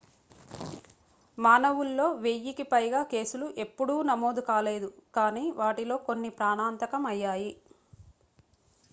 మానవుల్లో వెయ్యి కి పైగా కేసులు ఎప్పుడూ నమోదు కాలేదు కానీ వాటిలో కొన్ని ప్రాణాంతకం అయ్యాయి